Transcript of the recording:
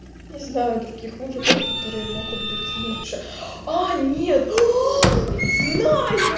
не знаю других мужиков которые могут быть лучше а нет знаю